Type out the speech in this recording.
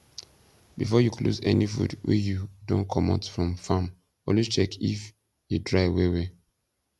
before you close any food wey you don comot from farm always check if e dry well well